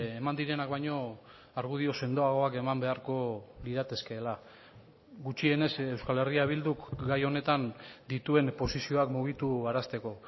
eman direnak baino argudio sendoagoak eman beharko liratekeela gutxienez euskal herria bilduk gai honetan dituen posizioak mugitu arazteko